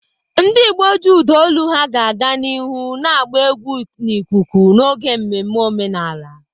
Ndị Igbo ji ụda olu ha ga-aga n'ihu na-agba egwu n'ikuku n'oge mmemme omenala.